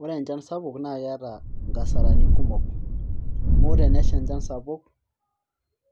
Ore enchan sapuk naa keeta nkasarani kumok amu ore enesha enchan sapuk